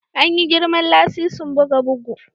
An yi girman lasisin buga bugu